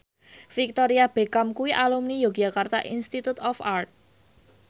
Victoria Beckham kuwi alumni Yogyakarta Institute of Art